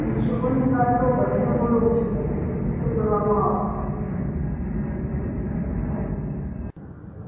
ничего не готово не выучено репетиций было мало